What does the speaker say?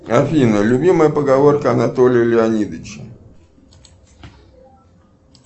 афина любимая поговорка анатолия леонидовича